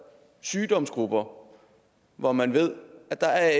sygdomsgrupper hvor man ved at der